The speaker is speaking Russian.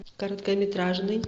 короткометражный